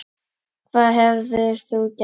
Hvað hefðir þú gert?